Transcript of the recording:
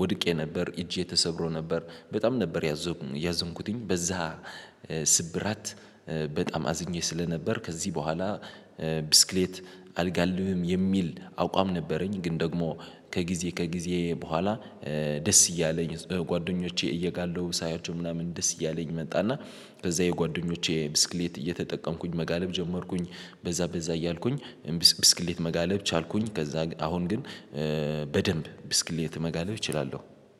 ወድቄ ነበር እጄ ተሰብሮ ነበር በጣም ነበር። ያዘንኩትኝ በዛ ስብራት በጣም አዝኜ ስለነበር ከዚህ በኋላ ብስክሌት አልጋልተብም የሚል አቋም ነበረኝ። ግን ደግሞ ከጊዜ ከጊዜ በኋላ ደስ እያለኝ ጓደኞቼ እየጋለቡ ሳያቸው ምናምን ደስ እያለኝ መጣና በዛ የጓደኞቼ ብስክሌት እየተጠቀምኩኝ መጋለብ ጀመርኩኝ በዛ በዛ እያልኩኝ ብስክሌት መጋለብ ቻልኩኝ። ከዛ አሁን ግን በደንብ ብስክሌት መጋለብ እችላለሁ።